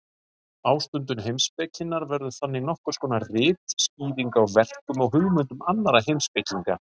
Ástundun heimspekinnar verður þannig nokkurs konar ritskýring á verkum og hugmyndum annarra heimspekinga.